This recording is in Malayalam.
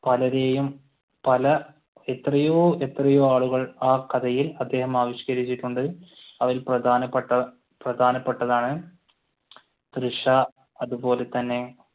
പലരെയും പല എത്രയോ എത്രയോ ആളുകൾ ആ കഥയിൽ അദ്ദേഹം ആവിഷ്കരിച്ചിട്ടുണ്ട്. അതിൽ പ്രധാനപ്പെട്ട പ്രധാനപെട്ടതാണ് തൃഷ അതുപോലെ തന്നെ